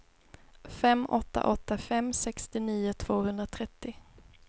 fem åtta åtta fem sextionio tvåhundratrettio